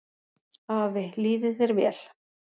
Afi, líði þér vel.